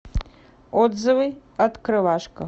отзывы открывашка